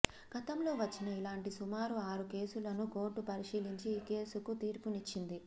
గతంలో వచ్చిన ఇలాంటి సుమారు ఆరు కేసులను కోర్టు పరిశీలించి ఈ కేసుకు తీర్పునిచ్చింది